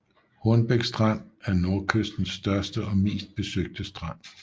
Hornbæk Strand er Nordkystens største og mest besøgte strand